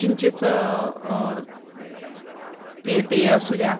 चिंचेचं पेय असुद्या